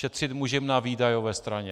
Šetřit můžeme na výdajové straně.